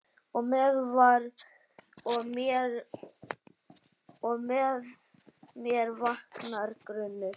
Og með mér vaknar grunur.